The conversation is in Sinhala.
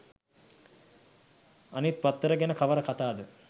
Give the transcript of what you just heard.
අනිත් පත්තර ගැන කවර කතාද